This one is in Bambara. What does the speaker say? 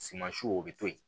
Sumansiw o bɛ to yen